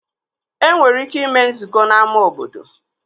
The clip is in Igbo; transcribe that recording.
E nwere ike ime nzukọ n'ámá obodo